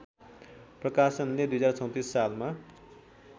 प्रकाशनले २०३४ सालमा